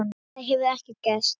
Þar hefur ekkert gerst.